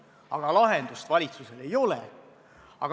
Aga lahendust valitsusel ei ole.